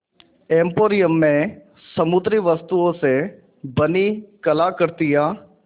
emporium में समुद्री वस्तुओं से बनी कलाकृतियाँ